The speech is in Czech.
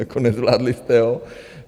Jako nezvládli jste ho.